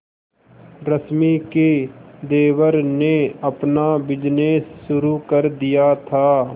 रश्मि के देवर ने अपना बिजनेस शुरू कर दिया था